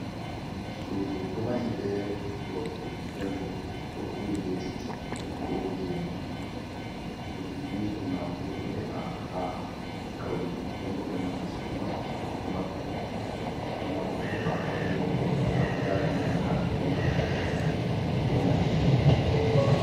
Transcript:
Suɗu ɗo mahi be loope. Ɗenbo ɗo huri be kitii, ko bo gene. cuɗiɗi ni burnafu ɗo heba ha kauye. Ɗenbo dammugal sudu man ɗo mabbi. Burnafu ɗo heɓa ha kauye. Ɗenbo wala ko yalima be hala gulɗum ko nange.